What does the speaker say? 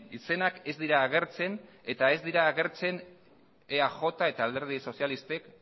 izenak ez dira agertzen eta ez dira agertzen eaj eta alderdi sozialistak